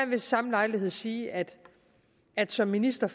ved samme lejlighed sige at at som minister